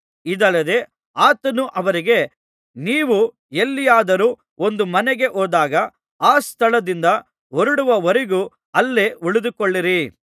ಇದಲ್ಲದೆ ಆತನು ಅವರಿಗೆ ನೀವು ಎಲ್ಲಿಯಾದರೂ ಒಂದು ಮನೆಗೆ ಹೋದಾಗ ಆ ಸ್ಥಳದಿಂದ ಹೊರಡುವವರೆಗೂ ಅಲ್ಲೇ ಉಳಿದುಕೊಳ್ಳಿರಿ